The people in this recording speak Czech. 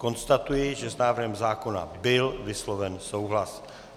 Konstatuji, že s návrhem zákona byl vysloven souhlas.